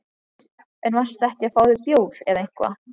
En varstu ekki að fá þér bjór eða eitthvað?